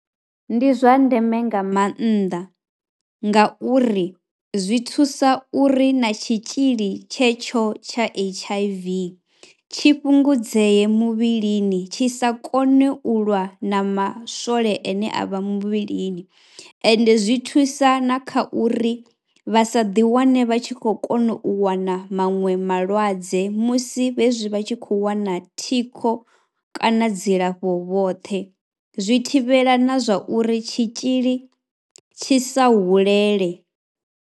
Ndi zwa ndeme nga maanḓa ngauri zwi thusa uri na tshitzhili tshetsho tsha H_I_V tshi fhungudzee muvhilini tshi sa kone u lwa na maswole ane a vha muvhilini ende zwi thusa na kha uri vha sa ḓiwane vha tshi khou kona u wana maṅwe malwadze musi vha tshi khou wana thikho kana dzilafho vhoṱhe, zwi thivhela na zwa uri tshitzhili tshi sa hulele.